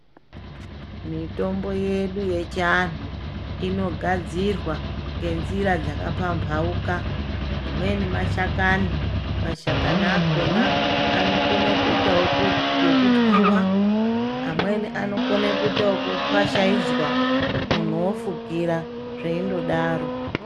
Mitombo yedu yechiantu inogadzirwa ngenzira dzakapamhauka. Imweni mashakani mashakani akona anokona kuitavo ekutwiva. Amweni anokona kuita ekufashaidzwa muntu ofukira zveindodaro.